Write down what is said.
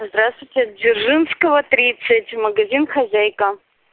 здравствуйте дзержинского тридцать магазин хозяйка